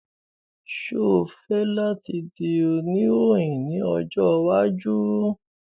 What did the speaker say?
Ṣe o fẹ lati di onirohin ni ojo iwaju?